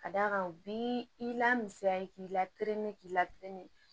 Ka d'a kan u bi i lamisiya k'i la k'i la